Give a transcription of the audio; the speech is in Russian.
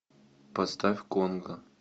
поставь конго